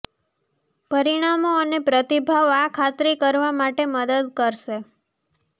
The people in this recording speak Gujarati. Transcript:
પરિણામો અને પ્રતિભાવ આ ખાતરી કરવા માટે મદદ કરશે